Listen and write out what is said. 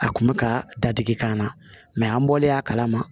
A kun bɛ ka dadigi k'an na mɛ an bɔlen a kala ma